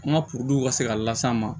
An ka ka se ka las'an ma